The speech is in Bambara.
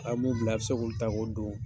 A' mun bila a bɛ se k'o ta k'o don.